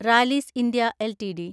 Rallis India LTD